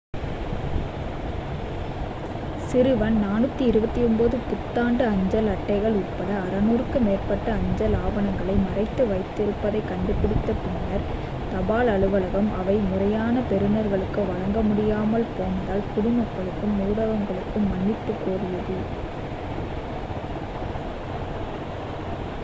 சிறுவன் 429 புத்தாண்டு அஞ்சல் அட்டைகள் உட்பட 600 க்கும் மேற்பட்ட அஞ்சல் ஆவணங்களை மறைத்து வைத்திருப்பதைக் கண்டுபிடித்த பின்னர் தபால் அலுவலகம் அவை முறையான பெறுனர்களுக்கு வழங்கப்பட முடியாமல் போனதால் குடிமக்களுக்கும் ஊடகங்களுக்கும் மன்னிப்புக் கோரியது